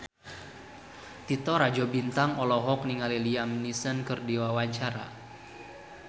Titi Rajo Bintang olohok ningali Liam Neeson keur diwawancara